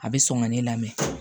A bɛ sɔn ka ne lamɛn